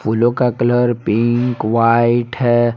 फूलों का colour pink white हैं।